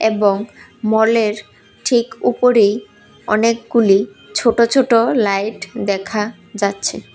এবং মলের ঠিক উপরেই অনেকগুলি ছোট ছোট লাইট দেখা যাচ্ছে।